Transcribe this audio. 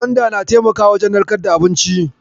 Gwanda na taimakawa wajen narkar da abinci.